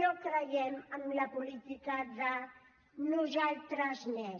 no creiem en la política de nosaltres més